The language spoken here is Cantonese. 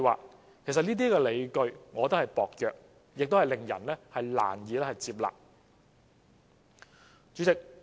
我覺得其實這些理據薄弱，亦令人難以接納。